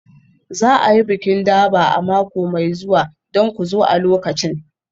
Za a yi bikin Durbar a mako mai zuwa don ku zo a lokacin.